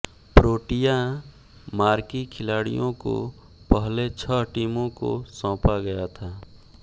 Protea marquee खिलाड़ियों को पहले छह टीमों को सौंपा गया था